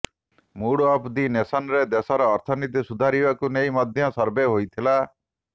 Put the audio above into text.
mood of the ନେସନ୍ରେ ଦେଶର ଅର୍ଥନୀତି ସୁଧାରିବାକୁ ନେଇ ମଧ୍ୟ ସର୍ଭେ ହୋଇଥିଲା